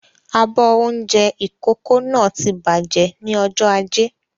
Abọ́ oúnjẹ ìkókó náà ti bàjẹ́ ni ọjọ́ ajé